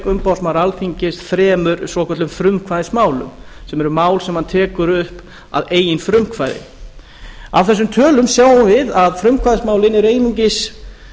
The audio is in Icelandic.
umboðsmaður alþingis þremur svokölluðum frumkvæðismálum sem eru mál sem hann tekur upp að eigin frumkvæði af þessum tölum sjáum við að frumkvæðismálin eru einungis